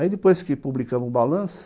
Aí depois que publicamos o balanço,